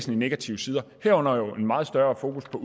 negative sider herunder jo en meget større fokus på